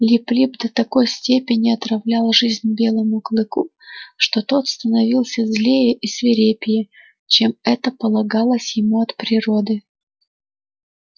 лип лип до такой степени отравлял жизнь белому клыку что тот становился злее и свирепее чем это полагалось ему от природы